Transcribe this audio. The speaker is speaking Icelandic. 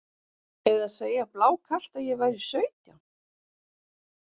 Eða segja blákalt að ég væri sautján?